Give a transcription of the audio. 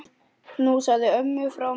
Knúsaðu ömmu frá mér.